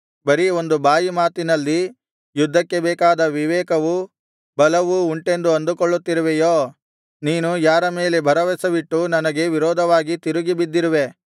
ಬರೀ ಒಂದು ಬಾಯಿ ಮಾತಿನಲ್ಲಿ ಯುದ್ಧಕ್ಕೆ ಬೇಕಾದ ವಿವೇಕವೂ ಬಲವೂ ಉಂಟೆಂದು ಅಂದುಕೊಳ್ಳುತ್ತಿರುವೆಯೋ ನೀನು ಯಾರ ಮೇಲೆ ಭರವಸವಿಟ್ಟು ನನಗೆ ವಿರೋಧವಾಗಿ ತಿರುಗಿ ಬಿದ್ದಿರುವೆ